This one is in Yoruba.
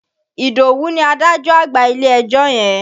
Ìdòwú ni adájọ́ àgbà ilé-ẹjọ́ yẹn.